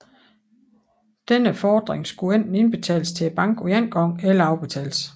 Denne fordring skulle enten indbetales til banken på én gang eller afbetales